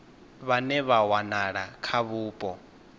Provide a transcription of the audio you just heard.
vhane vha wanala kha vhupo